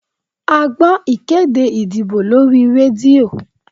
A gbọ́ ìkéde ìdìbò lórí rédíò